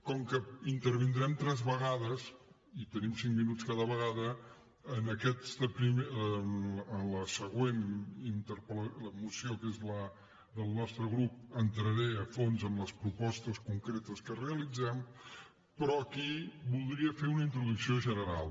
com que intervindrem tres vegades i tenim cinc minuts cada vegada en la següent moció que és la del nostre grup entraré a fons en les propostes concretes que realitzem però aquí voldria fer una introducció general